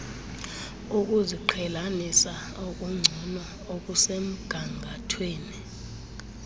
ukuziqhelanisa okungcono okusemgangathweni